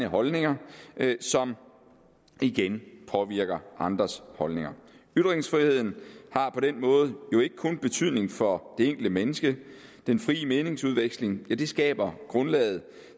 holdninger som igen påvirker andres holdninger ytringsfriheden har på den måde ikke kun betydning for det enkelte menneske den frie meningsudveksling skaber grundlaget